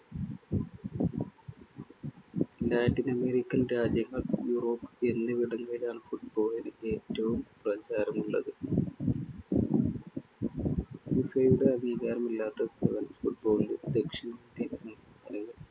Latin American രാജ്യങ്ങൾ, Europe എന്നിവിടങ്ങളിലാണ്‌ football ന് ഏറ്റവും പ്രചാരമുളളത്‌. ഫിഫയുടെ അംഗീകാരമില്ലാത്ത sevens football ന്‌